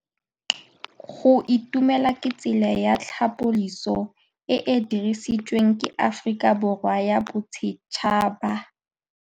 Go itumela ke tsela ya tlhapolisô e e dirisitsweng ke Aforika Borwa ya Bosetšhaba.